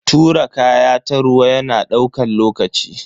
Tura kaya ta ruwa yana daukan lokaci.